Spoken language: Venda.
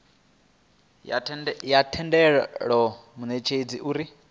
ya tendela munetshedzi uri a